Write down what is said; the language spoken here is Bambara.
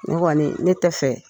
Ne kɔɔni ne tɛ fɛ